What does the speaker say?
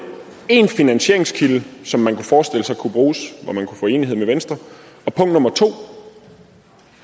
én finansieringskilde som man kunne forestille sig kunne bruges og enighed med venstre og